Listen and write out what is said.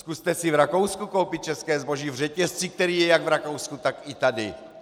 Zkuste si v Rakousku koupit české zboží v řetězci, který je jak v Rakousku, tak i tady.